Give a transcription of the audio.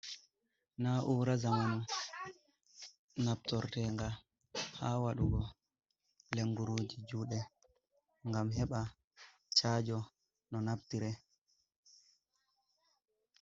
Na'ura zamanu naftortenga ha waɗugo lenguruji juɗe ngam heɓa chajo no naftire.